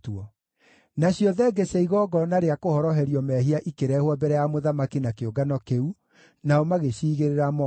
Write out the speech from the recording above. Nacio thenge cia igongona rĩa kũhoroherio mehia ikĩrehwo mbere ya mũthamaki na kĩũngano kĩu, nao magĩciigĩrĩra moko.